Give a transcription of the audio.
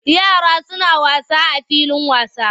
Yara suna wasa a filin wasa.